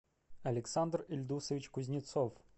александр ильдусович кузнецов